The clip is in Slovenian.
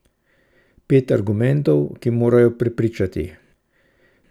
Pet argumentov, ki morajo prepričati.